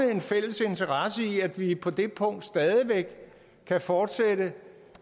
og en fælles interesse i at vi på det punkt stadig væk kan fortsætte